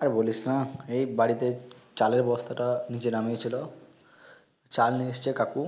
আর বলিশ না এই বাড়িতে চালের বস্তাটা নিচে নামিয়েছিল চাল নিয়েএসেছে কাকু